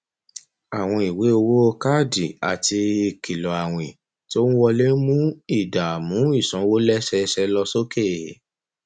àwọn ìwé owó káàdì àti ìkìlọ àwìn tó ń wọlé ń mú ìdààmú ìsanwó lẹsẹẹsẹ lọ sókè